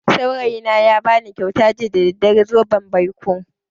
Saurayina ya bani kyauta jiya da daddare, zoben baiko.